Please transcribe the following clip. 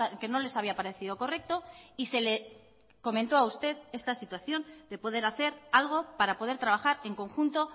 que no les había parecido correcto y se le comentó a usted esta situación de poder hacer algo para poder trabajar en conjunto